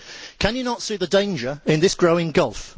Can you not see the danger in this growing gulf?